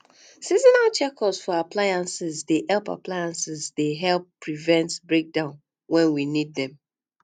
seasonal checkup for appliances dey help appliances dey help prevent breakdowns when we need them